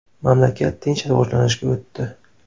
Mamlakat tinch rivojlanishga o‘tdi.